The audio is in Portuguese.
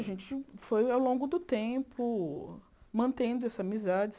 A gente foi ao longo do tempo mantendo essa amizade.